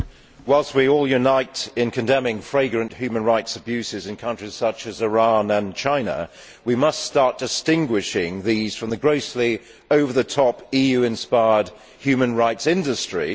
Madam President, whilst we all unite in condemning flagrant human rights abuses in countries such as Iran and China, we must start distinguishing these from the grossly over the top EU inspired human rights industry.